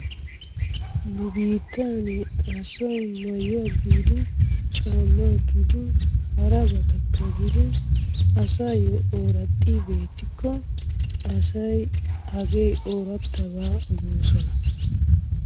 Nu biittan asay maayuwaa giidin caammaa gidiin harabatakka gidiin asaayoo oraaxi beetikko asay hagee orattabaa goosona.